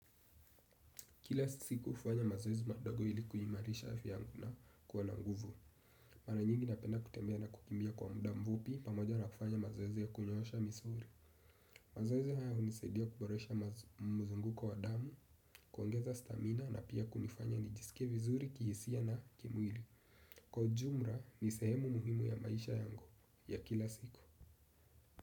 Kila siku hufanya mazoezi madogo ili kuimarisha afya yangu na kuwa na nguvu. Mara nyingi napenda kutembea na kukimbia kwa muda mfupi pamoja na kufanya mazoezi ya kunyoosha misuli. Mazoezi haya hunisaidia kuboresha mzunguko wa damu, kuongeza stamina na pia kunifanya nijisike vizuri kihisia na kimwili. Kwa ujumla ni sehemu muhimu ya maisha yangu ya kila siku.